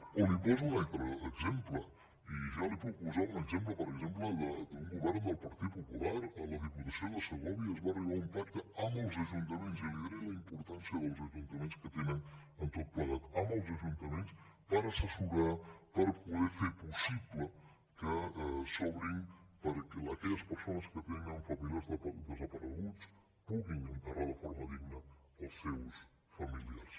o li’n poso un altre exemple i ja li puc posar un exemple per exemple d’un govern del partit popular a la diputació de segòvia es va arribar a un pacte amb els ajuntaments i li diré la importància que els ajuntaments tenen en tot plegat per assessorar per poder fer possible que s’obrin perquè aquelles persones que tenen familiars desapareguts puguin enterrar de forma digna els seus familiars